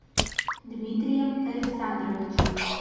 дмитрием александровичем